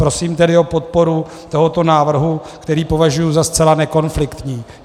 Prosím tedy o podporu tohoto návrhu, který považuji za zcela nekonfliktní.